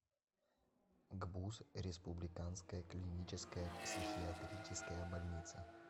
гбуз республиканская клиническая психиатрическая больница